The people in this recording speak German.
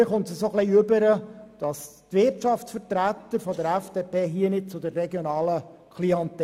Mir kommt es vor, als stünden die Wirtschaftsvertreter der FDP nicht zur regionalen Klientel.